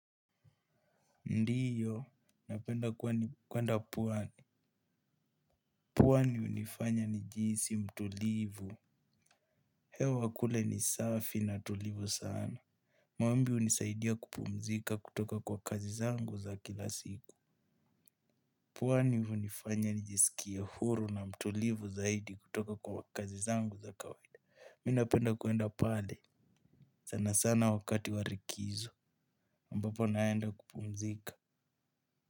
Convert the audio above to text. Ndiyo, napenda kwenda pwani. Pwani hunifanya nijihisi mtulivu. Hewa kule ni safi na tulivu sana. Mwambi hunisaidia kupumzika kutoka kwa kazi zangu za kila siku. Pwani hunifanya nijisikie huru na mtulivu zaidi kutoka kwa kazi zangu za kawaida. Mi napenda kwenda pale. Sana sana wakati warikizo. Ambapo naenda kupumzika.